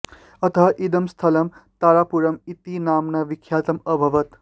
अतः इदं स्थलं तारापुरम् इति नाम्ना विख्यातम् अभवत्